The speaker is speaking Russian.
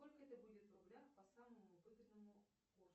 сколько это будет в рублях по самому выгодному курсу